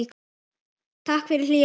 Takk fyrir hlýja hönd.